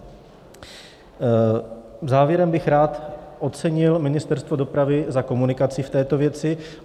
Závěrem bych rád ocenil Ministerstvo dopravy za komunikaci v této věci.